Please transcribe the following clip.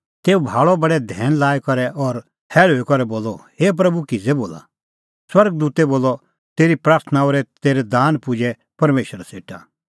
तेऊ भाल़अ बडै धैन लाई करै और हैल़ुई करै बोलअ हे प्रभू किज़ै बोला स्वर्ग दूतै बोलअ तेरी प्राथणां और तेरै दान पुजै परमेशरा सेटा